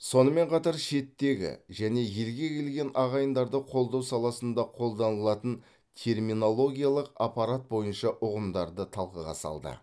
сонымен қатар шеттегі және елге келген ағайындарды қолдау саласында қолданылатын терминологиялық аппарат бойынша ұғымдарды талқыға салды